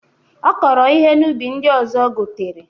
Ọ kọrọ ihe n'ubi ndị ọzọ gotere.